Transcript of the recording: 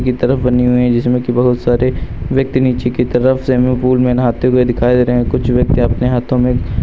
ये तरफ बनी हुई है जिसमें कि बहुत सारे व्यक्ति नीचे की तरफ स्विमिंग पूल में नहाते हुए दिखाई दे रहे हैं। कुछ व्यक्ति अपने हाथों में --